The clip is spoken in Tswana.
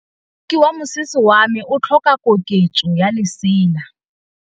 Moroki wa mosese wa me o tlhoka koketsô ya lesela.